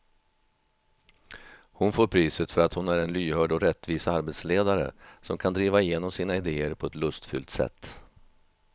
Hon får priset för att hon är en lyhörd och rättvis arbetsledare som kan driva igenom sina idéer på ett lustfyllt sätt.